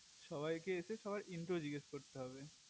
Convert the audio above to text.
সবাই কে এসে সবার into জিজ্ঞাস করতে হবে